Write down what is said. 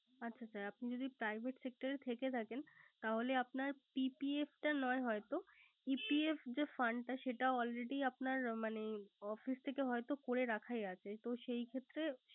আচ্ছা sir আপনি যদি Private sector এ থেকে থাকেন তাহলে আপনার PPF টা নয় হয়তো। EPF যে Fund টা সেটা Already আপনার মানে Office থেকে হয়ত করে রাগাইয়া আছে।